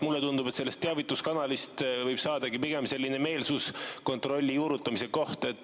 Mulle tundub, et sellest teavituskanalist võib saadagi pigem meelsuskontrolli juurutamise koht.